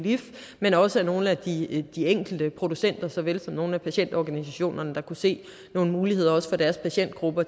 lif men også af nogle af de de enkelte producenter så vel som af nogle af patientorganisationerne der kunne se nogle muligheder også for deres patientgrupper